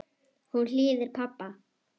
Hún hlýðir pabba.